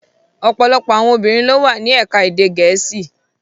Ọpọlọpọ awọn obirin lo wa ni Ẹka ede Gẹẹsi